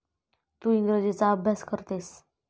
तू इंग्रजीचा अभ्यास करतेस.